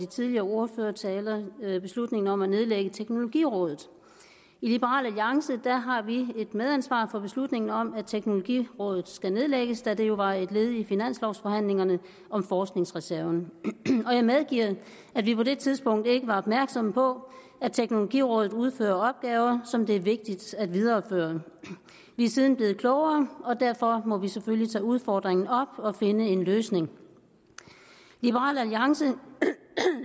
tidligere ordførertaler beslutningen om at nedlægge teknologirådet i liberal alliance har vi et medansvar for beslutningen om at teknologirådet skal nedlægges da det jo var et led i finanslovforhandlingerne om forskningsreserven jeg medgiver at vi på det tidspunkt ikke var opmærksomme på at teknologirådet udfører opgaver som det er vigtigt at videreføre vi er siden blevet klogere og derfor må vi selvfølgelig tage udfordringen op og finde en løsning liberal alliance